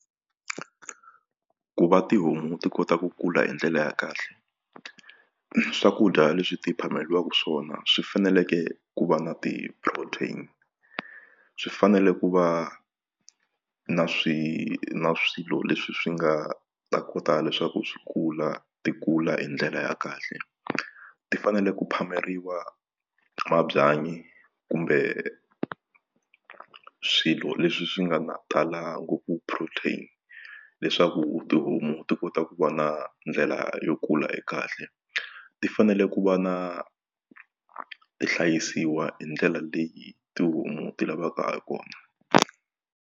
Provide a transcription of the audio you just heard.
Ku va tihomu ti kota ku kula hi ndlela ya kahle swakudya leswi ti phameriwaka swona swi faneleke ku va na ti-protein swi fanele ku va na na swilo leswi swi nga ta kota leswaku swi kula ti kula hi ndlela ya kahle ti fanele ku phameriwa mabyanyi kumbe swilo leswi swi nga talanga protein leswaku tihomu ti kota ku va na ndlela yo kula e kahle ti fanele ku va na ti hlayisiwa hi ndlela leyi tihomu ti lavaka ha kona.